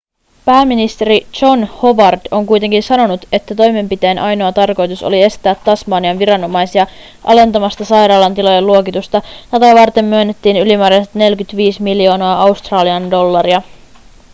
pääministeri john howard on kuitenkin sanonut että toimenpiteen ainoa tarkoitus oli estää tasmanian viranomaisia alentamasta sairaalan tilojen luokitusta tätä varten myönnettiin ylimääräiset 45 miljoonaa australian dollaria